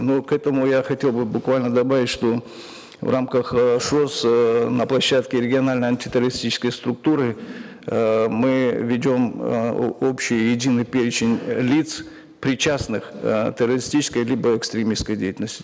но к этому я хотел бы буквально добавить что в рамках эээ шос эээ на площадке региональной антитеррористической структуры эээ мы ведем э общий единый перечень лиц причастных э террористической либо экстремистской деятельности